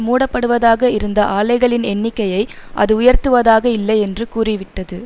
மூடப்படுவதாக இருந்த ஆலைகளின் எண்ணிக்கையை அது உயர்த்துவதாக இல்லை என்று கூறிவிட்டது